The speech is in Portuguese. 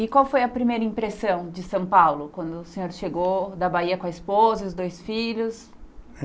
E qual foi a primeira impressão de São Paulo quando o senhor chegou da Bahia com a esposa e os dois filhos?